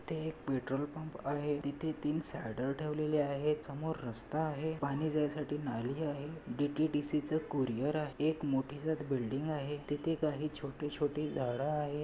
इथे एक petrol pump आहे. तिथे तीन स्लाइडर ठेवलेले आहेत. समोर रास्ता आहे. पानी जायसाठी नाली आहे. डी_टी_डी_सीच कुरिअर आ एक मोठीजात बिल्डिग आहे. तिथे काही छोटी छोटी झाड आहे.